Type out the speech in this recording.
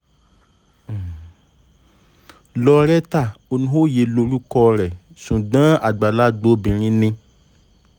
lauretta olóyè lorúkọ rẹ̀ ṣùgbọ́n àgbàlagbà obìnrin ni